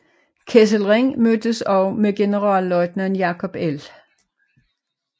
Kesselring mødtes også med generalløjtnant Jacob L